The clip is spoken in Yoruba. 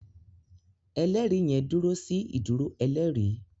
ẹlẹri yen dúró sí ìdúró ẹlẹri.